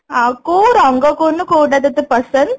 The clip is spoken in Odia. ହଁ ଆଉ କୋଉ ରଙ୍ଗ କହୁନୁ କୋଉଟା ତତେ ପସନ୍ଦ